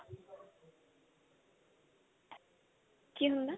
ਕੀ ਹੁੰਦਾ